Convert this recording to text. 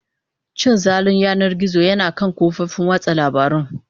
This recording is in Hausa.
Cin zalin yanar gizo yana kan kafofin watsa labarun.